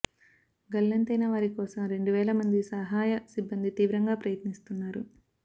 గల్లంతైన వారి కోసం రెండు వేల మంది సహాయ సిబ్బంది తీవ్రంగా ప్రయత్నిస్తున్నారు